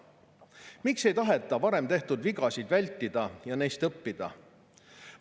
Miks ei taheta varem tehtud vigasid vältida ja neist õppida?